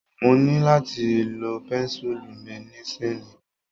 Mo ní láti lo pẹ́ńsùlù mi nísiyìí.